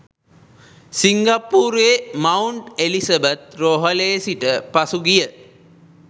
සිංගප්පූරුවේ Mount Elizabeth රෝහලේ සිට පසුගිය